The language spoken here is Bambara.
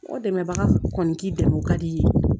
O dɛmɛbaga kɔni k'i dɛmɛ o ka di i ye